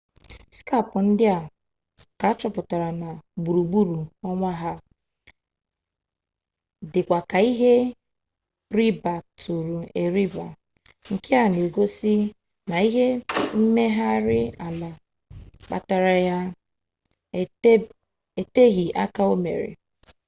skap ndị a ka achọpụtara gburugburu ọnwa ha dịkwa ka ihe ribatụrụ eriba nke na-egosi na ihe mmegharị ala kpatara ya eteghị aka omere